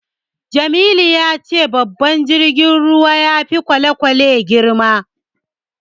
Jamilu ya ce babban jirgin ruwa ya fi kwale-kwale girma.